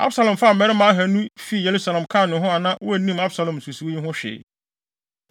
Absalom faa mmarima ahannu fii Yerusalem kaa ne ho a na wonnim Absalom nsusuwii yi ho hwee.